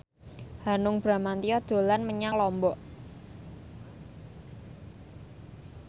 Hanung Bramantyo dolan menyang Lombok